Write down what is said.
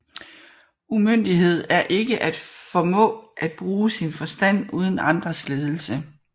Umyndighed er ikke at formå at bruge sin forstand uden andres ledelse